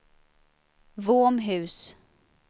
Våmhus